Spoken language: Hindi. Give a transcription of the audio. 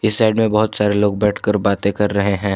साइड में बहोत सारे लोग बैठकर बातें कर रहे हैं।